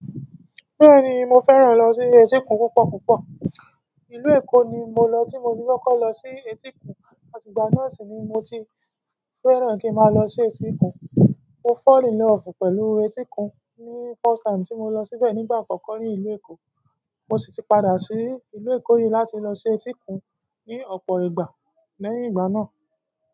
Bẹ́ẹ̀ni, mo fẹ́ràn lọ sí etíkun púpọ̀ púpọ̀. Ìlú Èkó ni mo lọ tí mo ti kọ́kọ́ lọ sí etíkun àtìgbà náà sì ni mo ti fẹ́ràn kí n máa lọ sí etíkun. Mo fall in love pẹ̀lú etíkun ni first time tí mo lọ síbẹ̀ nígbà àkọ́kọ́ nílùú Èkó. Mo sì ti padà sí ìlú Eko yí láti lọ sí etíkun ní ọ̀pọ̀ ìgbà lẹ́yìn ìgbà náà.